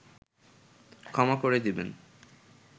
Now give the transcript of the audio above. ক্ষমা করে দেবেন